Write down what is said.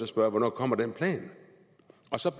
spørge hvornår kommer den plan